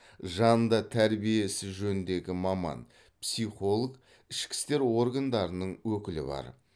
жанында тәрбие ісі жөніндегі маман психолог ішкі істер органдарының өкілі бар